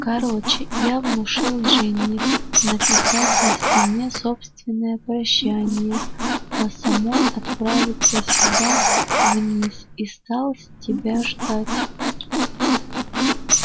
короче я внушил джинни написать на стене собственное прощание а самой отправиться сюда вниз и стал тебя ждать